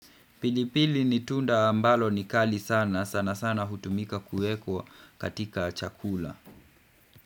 Pilipili ni tunda ambalo ni kali sana, sana sana hutumika kuekwa katika chakula.